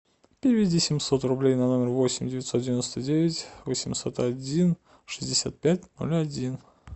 переведи семьсот рублей на номер восемь девятьсот девяносто девять восемьсот один шестьдесят пять ноль один